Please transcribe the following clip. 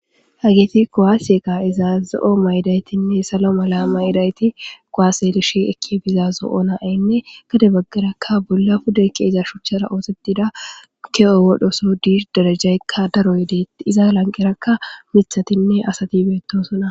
Hageeti kowaase ka'izaaza zoo'o mayidaytinne salo mala mayidayti kowaaselishi ekki bizazo oonaaynne gade baggarakka bolla puda ke'eza shuchchara oosetida ke7o wodhoso diir darajaykka daro yedeet izaa lanqerakka mithatinne asati beettosona.